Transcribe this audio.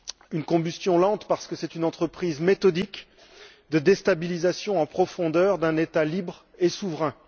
Une combustion lente parce que c'est une entreprise méthodique de déstabilisation en profondeur d'un État libre et souverain.